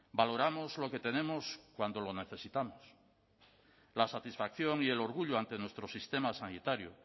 valoramos lo que tenemos cuando lo necesitamos la satisfacción y el orgullo ante nuestro sistema sanitario